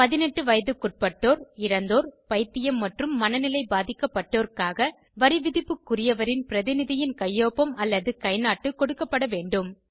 18 வயதுக்குட்பட்டோர் இறந்தோர் பைத்தியம் மற்றும் மனநிலை பாதிக்கப்பட்டோர்காக வரிவிதிப்புக்குரியவரின் பிரதிநிதியின் கையொப்பம் அல்லது கைநாட்டு கொடுக்கப்பட வேண்டும்